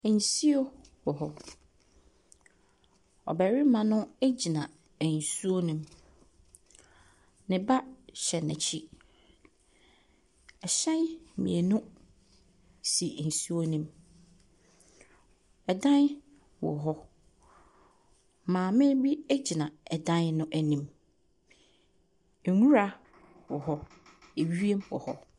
Nsuo wɔ hɔ. Ɔbarima no gyina nsuo no mu. Neba hyɛ n'akyi. Ahyɛn mmienu si nsuo no mu. Ɛdan wɔ hɔ. Maame bi gyina ɛdan no anim. Nwura wɔ hɔ. Ewiem wɔ hɔ.